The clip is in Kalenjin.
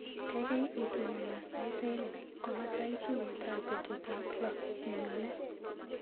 Kaikai itononona sait aeng' komatai tuiyetap betutap loo nenyone.